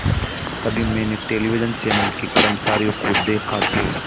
तभी मैंने television channel के कर्मचारियों को देखा जो